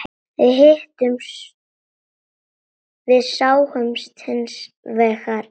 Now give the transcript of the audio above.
Við sátum hins vegar eftir.